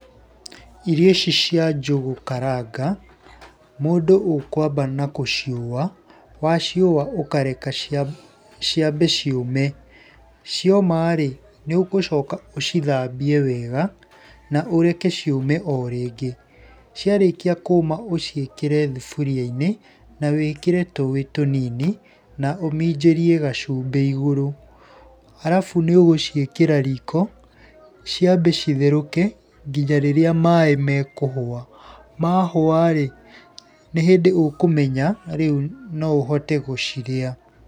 Irio ici cia njũgũ karanga, mũndũ ũkwamba na kũciũa, waciũa ũkareka ciambe ciũme. Cioma rĩ nĩ ũgũcoka ũcithambie wega na ũreke ciũme o rĩngĩ, ciarĩkia kũma ũciĩkĩre thuburia-inĩ, na wĩkĩre tũũĩ tũnini na ũminjĩrie gacumbĩ igũrũ. Arabu nĩ ũgũciĩkĩra riko ciambe citherũke nginya rĩrĩa maaĩ mekũhũa, mahũa rĩ nĩ hĩndĩ ũkũmenya rĩu no ũhote gũcirĩa.